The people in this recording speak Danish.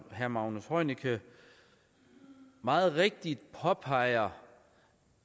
herre magnus heunicke meget rigtigt påpeger